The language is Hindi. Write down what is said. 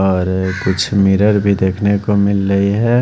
और कुछ मिरर भी देखने को मिल रही है।